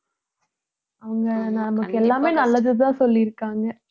அவங்க நமக்கு எல்லாமே நல்லதுதான் சொல்லியிருக்காங்க